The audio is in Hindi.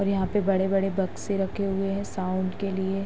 और यहाँ पर बड़े-बड़े बक्से रखे हुए है साउंड के लिए।